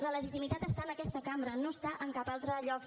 la legitimitat està en aquesta cambra no està en cap altre lloc